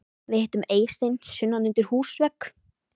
Við hittum Eystein sunnan undir húsvegg.